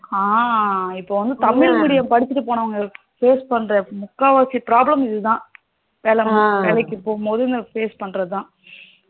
ஆஹ் இப்போ வந்து தமிழ் medium படிச்சிட்டு போனவனங்க face பண்ற முக்கால் வாசி problem இதுதான் வேல வேலைக்கு போகும் போது face பன்னுறதுதான்